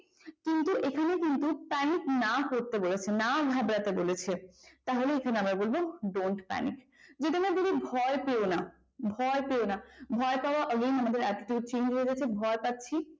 কিন্তু এখানে কিন্তু panic না করতে বলেছে না ঘাবরাতে বলেছে তাহলে আমরা এখানে বলবো don't panic যদি আমরা বলি ভয় পেয়ো না ভয় পাওয়া again আমাদের attitude change হয়ে যাচ্ছে ভয় পাচ্ছি